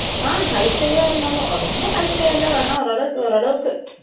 அ, hifi ஆ இருந்தாலும், ரொம்ப hifi ஆ எல்லாம் வேணாம். ஓரளவுக்கு ஓரளவுக்கு,